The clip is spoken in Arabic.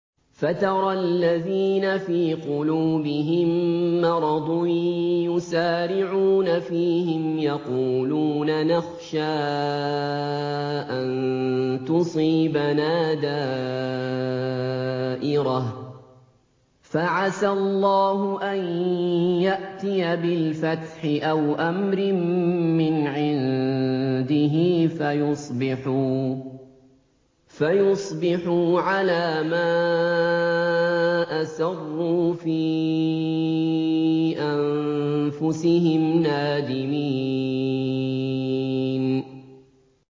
فَتَرَى الَّذِينَ فِي قُلُوبِهِم مَّرَضٌ يُسَارِعُونَ فِيهِمْ يَقُولُونَ نَخْشَىٰ أَن تُصِيبَنَا دَائِرَةٌ ۚ فَعَسَى اللَّهُ أَن يَأْتِيَ بِالْفَتْحِ أَوْ أَمْرٍ مِّنْ عِندِهِ فَيُصْبِحُوا عَلَىٰ مَا أَسَرُّوا فِي أَنفُسِهِمْ نَادِمِينَ